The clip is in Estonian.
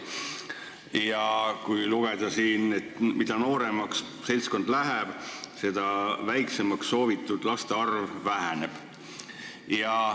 Siit võib lugeda, et mida nooremaks seltskond läheb, seda väiksemaks soovitud laste arv jääb.